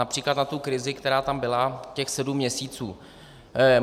Například na tu krizi, která tam byla těch sedm měsíců.